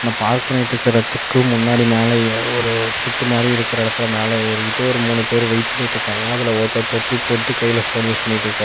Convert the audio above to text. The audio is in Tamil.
பார்க் பண்ணிட்டுருக்கறதுக்கு முன்னாடி மேலேயே ஒரு திட்டு மாரி இருக்குற இடத்துல மேல ஏறிட்டு ஒரு மூணு பேரு வெயிட் பண்ணிட்டுருக்காங்க அதுல ஒருத்தர் தொப்பி போட்டுட்டு கைல போன் யூஸ் பண்ணிட்டுருக்காரு.